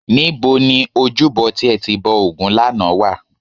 Níbo ni ojúbọ tí ẹ ti bọ ògún lánàá wà?